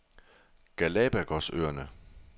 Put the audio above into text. Galapagosøerne